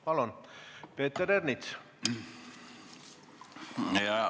Palun, Peeter Ernits!